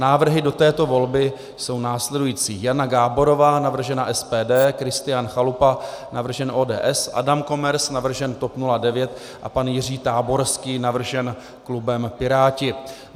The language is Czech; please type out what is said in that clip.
Návrhy do této volby jsou následující: Jana Gáborová, navržena SPD, Kristián Chalupa, navržen ODS, Adam Komers, navržen TOP 09, a pan Jiří Táborský, navržen klubem Piráti.